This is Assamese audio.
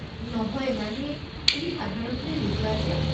নহয় মানে, তুমি সাধাৰণতে নোযোৱা যে।